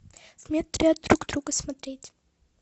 в метре от друг друга смотреть